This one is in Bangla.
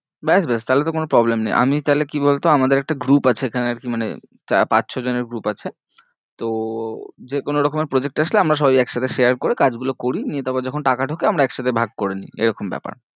ব্যাস ব্যাস তাহলে তো কোনো problem নেই, আমি তাহলে কি বলতো আমাদের একটা group আছে এখানে আর কি মানে পাঁচ ছ জনের group আছে তো যে কোনো রকমের project আসলে আমরা সবাই একসাথে share করে কাজগুলো করি নিয়ে তারপর যখন টাকা ঢোকে আমরা একসাথে ভাগ করে নি, এরকম ব্যাপার।